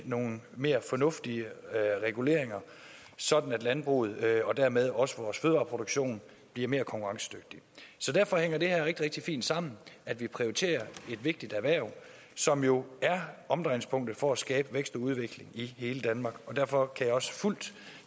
nogle mere fornuftige reguleringer sådan at landbruget og dermed også vores fødevareproduktion bliver mere konkurrencedygtig så derfor hænger det rigtig rigtig fint sammen at vi prioriterer et vigtigt erhverv som jo er omdrejningspunktet for at skabe vækst og udvikling i hele danmark og derfor kan jeg også fuldt